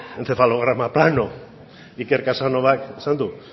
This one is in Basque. encefalograma plano iker casanovak esan du